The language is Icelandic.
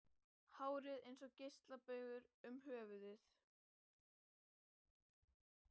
Hárið eins og geislabaugur um höfuðið.